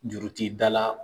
Juru ti dala.